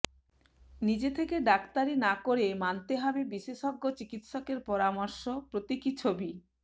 নিজে থেকে ডাক্তারি না করে মানতে হবে বিশেষজ্ঞ চিকিৎসকের পরামর্শ প্রতীকী ছবি